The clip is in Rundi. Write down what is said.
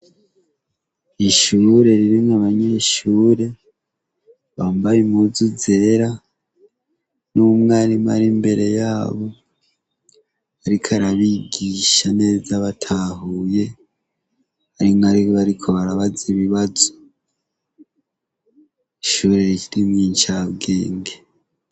Ishure ririmwo abanyeshure, bambaye impuzu zera n'umwarimu ari imbere yabo, ariko arabigisha neza batahuye, hari n'abariko barabaza ibibazo. Ishure ririmwo incabwenge.